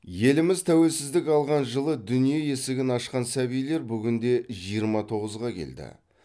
еліміз тәуелсіздік алған жылы дүние есігін ашқан сәбилер бүгінде жиырма тоғызға келді